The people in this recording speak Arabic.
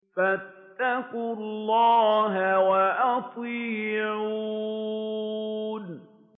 فَاتَّقُوا اللَّهَ وَأَطِيعُونِ